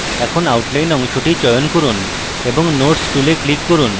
এখন outline অংশটি চয়ন করুন এবং nodes tool click করুন